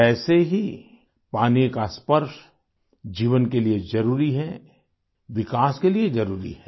वैसे ही पानी का स्पर्श जीवन के लिये जरुरी है विकास के लिये जरुरी है